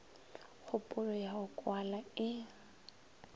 kgopolo ya go kwala e